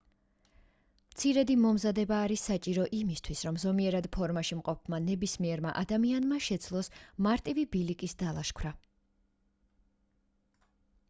მცირედი მომზადება არის საჭირო იმისთვის რომ ზომიერად ფორმაში მყოფმა ნებისმიერმა ადამიანმა შეძლოს მარტივი ბილიკის დალაშქვრა